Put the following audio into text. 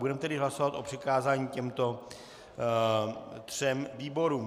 Budeme tedy hlasovat o přikázání těmto třem výborům.